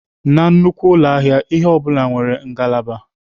Na nnukwu ụlọ ahịa, ihe ọ bụla nwere ngalaba.